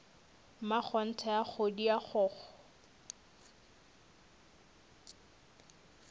mmakgonthe a kgodi a kgokgo